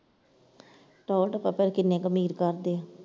ਟੌਰ ਟੱਪਾ ਪਰ ਕਿੰਨੇ ਕੁ ਅਮੀਰ ਕਰਦੇ ਆ।